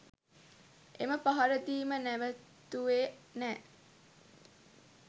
එම පහරදීම නැවැත්තුවේ නෑ.